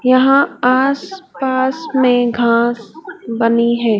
यहां आस पास में घास बनी है।